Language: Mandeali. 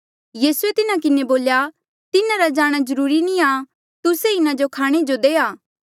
यीसू ये तिन्हा किन्हें बोल्या तिन्हारा जाणा जरूरी नी आ तुस्से ई इन्हा जो खाणे जो देआ